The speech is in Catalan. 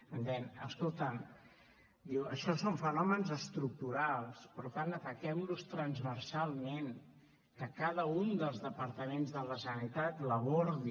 em deien escolta’m diu això són fenòmens estructurals per tant ataquem los transversalment que cada un dels departaments de la generalitat l’abordi